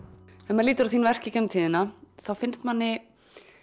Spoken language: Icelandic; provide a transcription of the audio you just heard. maður lítur á þín verk í gegnum tíðina þá finnst manni